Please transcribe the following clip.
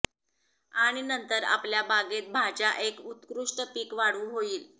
आणि नंतर आपल्या बागेत भाज्या एक उत्कृष्ट पीक वाढू होईल